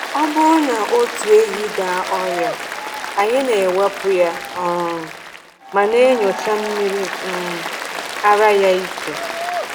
Ọ bụrụ na otu ehi daa ọrịa, anyị na-ekewapụ ya um ma na-enyocha mmiri um ara ya iche.